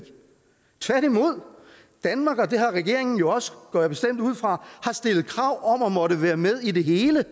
tværtimod danmark og det har regeringen jo også går jeg bestemt ud fra har stillet krav om at måtte være med i det hele hvad